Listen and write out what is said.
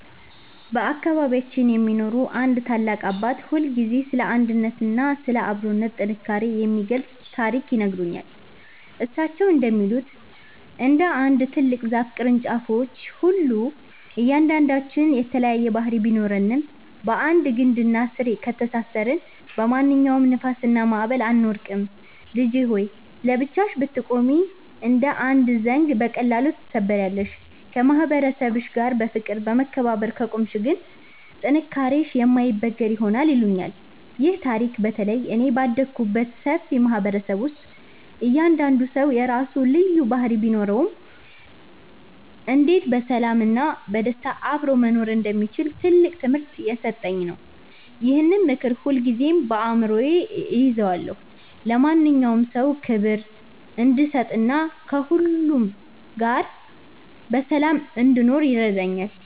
በአካባቢያችን የሚኖሩ አንድ ታላቅ አባት ሁልጊዜ ስለ አንድነትና ስለ አብሮነት ጥንካሬ የሚገልጽ ታሪክ ይነግሩኛል። እሳቸው እንደሚሉት፣ እንደ አንድ ትልቅ ዛፍ ቅርንጫፎች ሁሉ እያንዳንዳችን የተለያየ ባህሪ ቢኖረንም፣ በአንድ ግንድና ስር ከተሳሰርን በማንኛውም ንፋስና ማዕበል አንወድቅም። "ልጄ ሆይ! ለብቻሽ ብትቆሚ እንደ አንድ ዘንጊ በቀላሉ ትሰበሪያለሽ፤ ከማህበረሰብሽ ጋር በፍቅርና በመከባበር ከቆምሽ ግን ጥንካሬሽ የማይበገር ይሆናል" ይሉኛል። ይህ ታሪክ በተለይ እኔ ባደግኩበት ሰፊ ማህበረሰብ ውስጥ እያንዳንዱ ሰው የራሱ ልዩ ባህሪ ቢኖረውም፣ እንዴት በሰላምና በደስታ አብሮ መኖር እንደሚቻል ትልቅ ትምህርት የሰጠኝ ነው። ይህንን ምክር ሁልጊዜም በአእምሮዬ እይዘዋለሁ፤ ለማንኛውም ሰው ክብር እንድሰጥና ከሁሉ ጋር በሰላም እንድኖርም ይረዳኛል።